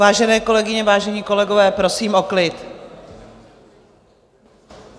Vážené kolegyně, vážení kolegové, prosím o klid.